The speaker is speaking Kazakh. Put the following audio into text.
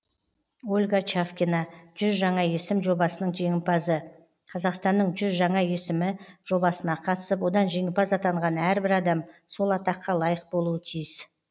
ольга чавкина жүз жаңа есім жобасының жеңімпазы қазақстанның жүз жаңа есімі жобасына қатысып одан жеңімпаз атанған әрбір адам сол атаққа лайық болуы тиіс